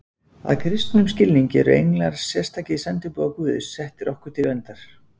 Að kristnum skilningi eru englar sérstakir sendiboðar Guðs, settir okkur til verndar.